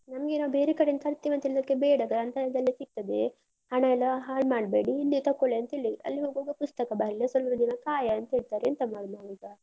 ನಮ್ಗೆ ನಾವು ಬೇರೆ ಕಡೆಯಿಂದ ತರ್ತೆವೆ ಅಂತ ಹೇಳಿದ್ದಕ್ಕೆ, ಬೇಡ ಗ್ರಂಥಾಲಯದಲ್ಲಿ ಸಿಗ್ತದೆ ಹಣ ಎಲ್ಲ ಹಾಳ್ ಮಾಡ್ಬೇಡಿ, ಇಲ್ಲಿಯೆ ತಕೊಳ್ಳಿ ಅಂತ ಹೇಳಿ. ಅಲ್ಲಿ ಹೋಗ್ವಾಗ ಪುಸ್ತಕ ಬರ್ಲಿಲ್ಲ, ಸ್ವಲ್ಪ ದಿನ ಕಾಯ ಅಂತ ಹೇಳ್ತಾರೆ ಎಂತ ಮಾಡುದು ನಾವೀಗ?